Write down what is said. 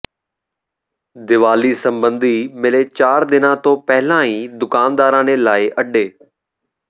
ਦੀਵਾਲੀ ਸਬੰਧੀ ਮਿਲੇ ਚਾਰ ਦਿਨਾਂ ਤੋਂ ਪਹਿਲਾਂ ਹੀ ਦੁਕਾਨਦਾਰਾਂ ਨੇ ਲਾਏ ਅੱਡੇ